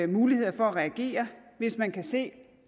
muligheder for at reagere hvis man kan se